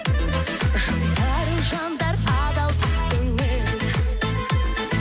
жайдары жандар адал ақ көңіл